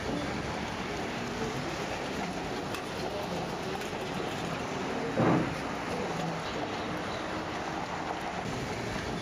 ní nǹkan bíi ọdún méje sẹyìn mo mọ pé ó pàdé olólùfẹ bíi ẹẹmejì ọtọọtọ